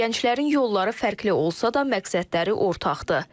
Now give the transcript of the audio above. Gənclərin yolları fərqli olsa da, məqsədləri ortaqdır.